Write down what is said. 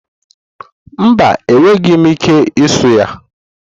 Mba, enweghị m ike ịsu yam.